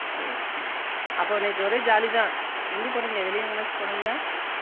சேரி சேரி அப்போ ஒரே jolly தான் எங்க போனிங்க வெளிய எங்கியாச்சும் போனிங்களா